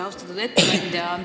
Austatud ettekandja!